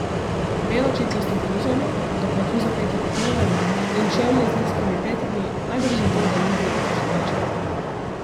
Belo čipkasto bluzo ima, do vratu zapeto kot nuna, in čevlje z nizkimi petami, najbrž zato, da ni videti še večja.